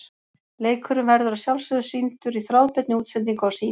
Leikurinn verður að sjálfsögðu sýndur í þráðbeinni útsendingu á Sýn.